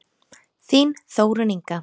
Þín Þórunn Inga.